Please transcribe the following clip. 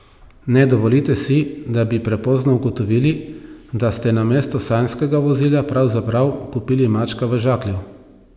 Ne dovolite si, da bi prepozno ugotovili, da ste namesto sanjskega vozila pravzaprav kupili mačka v žaklju.